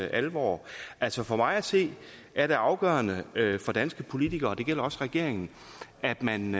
alvor altså for mig at se er det afgørende for danske politikere og det gælder også regeringen at man